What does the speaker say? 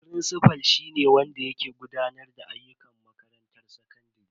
Firincifal shi ne wanda ke gudanar da ayyukan makarantar sakandare.